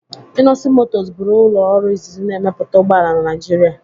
Innoson Motors bụrụ ụlọ ọrụ izizi na-emepụta ụgbọ ala na Naịjirịa.,